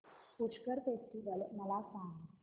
Pushkar festival मला सांग